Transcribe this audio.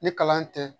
Ni kalan tɛ